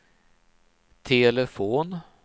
telefon